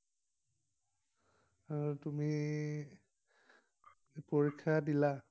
আৰু তুমি পৰীক্ষা দিলা?